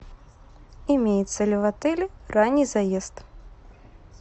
имеется ли в отеле ранний заезд